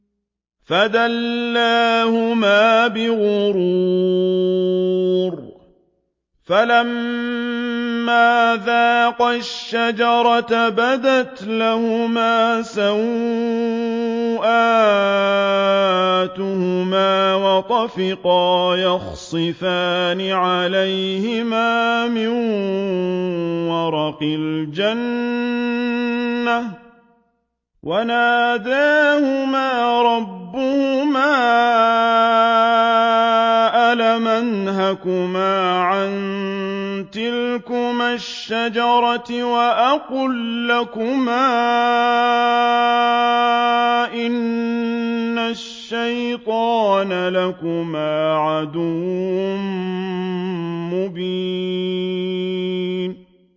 فَدَلَّاهُمَا بِغُرُورٍ ۚ فَلَمَّا ذَاقَا الشَّجَرَةَ بَدَتْ لَهُمَا سَوْآتُهُمَا وَطَفِقَا يَخْصِفَانِ عَلَيْهِمَا مِن وَرَقِ الْجَنَّةِ ۖ وَنَادَاهُمَا رَبُّهُمَا أَلَمْ أَنْهَكُمَا عَن تِلْكُمَا الشَّجَرَةِ وَأَقُل لَّكُمَا إِنَّ الشَّيْطَانَ لَكُمَا عَدُوٌّ مُّبِينٌ